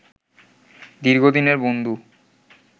দীর্ঘদিনের বন্ধু